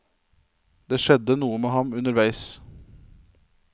Det skjedde noe med ham underveis.